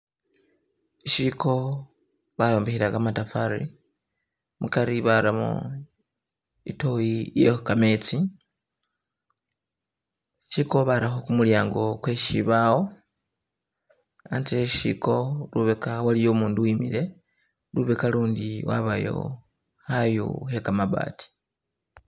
Ishiko bayombekhela kamatofali mukari baramo itoyi iye kametsi, ishiko barakho kumulyango kwe sibaawo , anze we sishiko lubeka waliyo umundu uwimile, lubeka ulundi wabayo khayu khe kamabaati